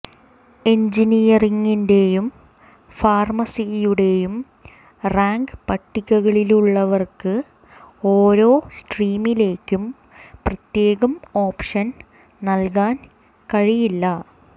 എൻജിനിയറിങ്ങിന്റെയും ഫാർമസിയുടെയും റാങ്ക് പട്ടികകളിലുള്ളവർക്ക് ഓരോ സ്ട്രീമിലേക്കും പ്രത്യേകം ഓപ്ഷൻ നൽകാൻ കഴിയില്ല